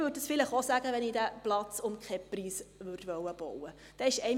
Das würde ich vielleicht auch sagen, wenn ich diesen Platz um keinen Preis bauen möchte.